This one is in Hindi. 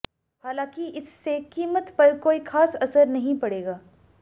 हालांकि इससे कीमत पर कोई खास असर नहीं पड़ेगा